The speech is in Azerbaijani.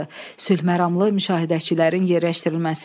Sülhməramlı müşahidəçilərin yerləşdirilməsi.